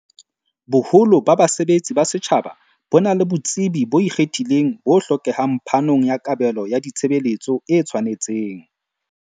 Boholo ba basebetsi ba setjhaba bona le botsebi bo ikgethileng bo hlokehang phanong ya kabelo ya ditshe beletso e tshwanetseng.